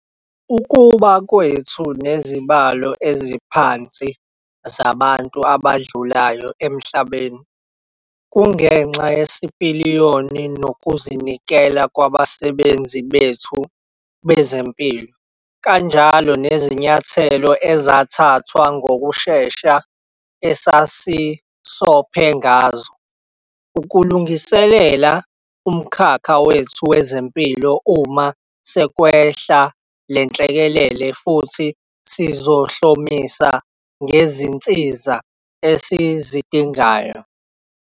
Ukuba kwethu nezibalo eziphansi zabantu abadlulayo emhlabeni kungenxa yesipiliyoni nokuzinikela kwabasebenzi bethu bezempilo kanjalo nezinyathelo ezathathwa ngokushesha esasisophe ngazo ukulungiselela umkhakha wethu wezempilo uma sekwehla le nhlekelele futhi sizihlomise ngezinsiza esizidingayo.